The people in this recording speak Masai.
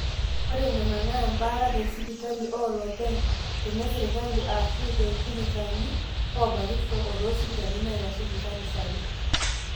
ore nena naa embaata tesipital olopeny, tenesirkali, aashu toolchirikani oobakisho o toosipitalini naaitasheiki inkanisani